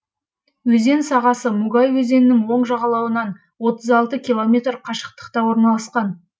өзен сағасы мугай өзенінің оң жағалауынан километр қашықтықта орналасқан